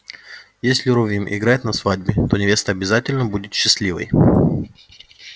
если рувим играет на свадьбе то невеста обязательно будет счастливой